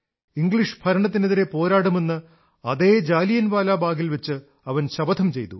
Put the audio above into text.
English ഭരണത്തിനെതിരെ പോരാടുമെന്ന് അതേ ജാലിയൻവാലാബാഗിൽവച്ച് അവൻ ശപഥം ചെയ്തു